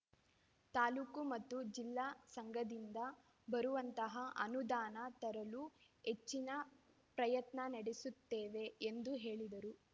ತಾಲೂಕು ಮತ್ತು ಜಿಲ್ಲಾ ಸಂಘದಿಂದ ಬರುವಂತಹ ಅನುಧಾನ ತರಲು ಹೆಚ್ಚಿನ ಪ್ರಯತ್ನ ನಡೆಸುತ್ತೇವೆ ಎಂದು ಹೇಳಿದರು